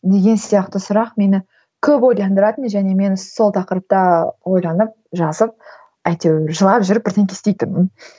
деген сияқты сұрақ мені көп ойландыратын және мен сол тақырыпта ойланып жазып әйтеуір жылап жүріп бірдеңе істейтінмін